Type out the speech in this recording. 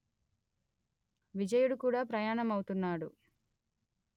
విజయుడు కూడా ప్రయాణమవుతాడు